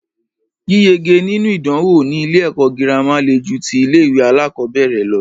Yíyege nínú ìdánwò ní ilé ẹ̀kọ́ gírámà le ju tí ilé ìwé alákọ̀berẹ̀ lọ.